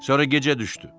Sonra gecə düşdü.